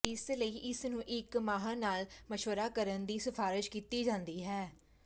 ਇਸ ਲਈ ਇਸ ਨੂੰ ਇੱਕ ਮਾਹਰ ਨਾਲ ਮਸ਼ਵਰਾ ਕਰਨ ਦੀ ਸਿਫਾਰਸ਼ ਕੀਤੀ ਜਾਂਦੀ ਹੈ